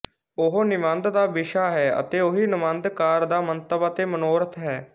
ਉਹੀ ਨਿਬੰਧ ਦਾ ਵਿਸ਼ਾ ਹੈ ਅਤੇ ਉਹੀ ਨਿਬੰਧਕਾਰ ਦਾ ਮੰਤਵ ਅਤੇ ਮਨੋਰਥ ਹੈ